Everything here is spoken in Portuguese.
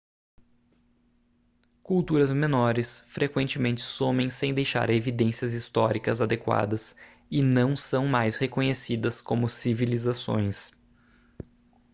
culturas menores frequentemente somem sem deixar evidências históricas adequadas e não são mais reconhecidas como civilizações